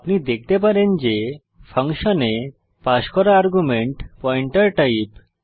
আপনি দেখতে পারেন যে ফাংশনে পাস করা আর্গুমেন্ট পয়েন্টার টাইপ